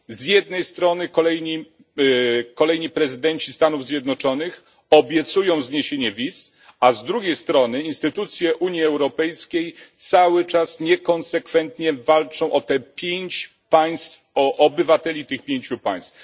Z jednej strony kolejni prezydenci Stanów Zjednoczonych obiecują zniesienie wiz, a z drugiej strony instytucje Unii Europejskiej cały czas niekonsekwentnie walczą o obywateli tych pięciu państw.